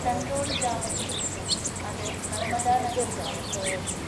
ചന്ദോഡ് ഗ്രാമത്തിൽ വച്ച് അത് നർമ്മദാനദിയുമായി ചേരുന്നു.